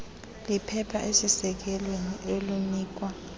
liphepha elisesikweni olinikwa